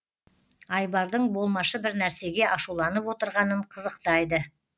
айбардың болмашы бір нәрсеге ашуланып отырғанын қызықтайды